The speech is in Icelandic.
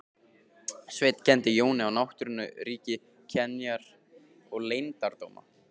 Sveinn kenndi Jóni á náttúrunnar ríki, kenjar og leyndardóma.